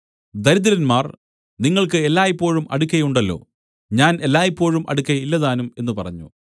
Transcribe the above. ദരിദ്രന്മാർ നിങ്ങൾക്ക് എല്ലായ്പോഴും അടുക്കെ ഉണ്ടല്ലോ ഞാൻ എല്ലായ്പോഴും അടുക്കെ ഇല്ലതാനും എന്നു പറഞ്ഞു